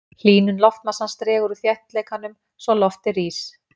hlýnun loftmassans dregur úr þéttleikanum svo loftið rís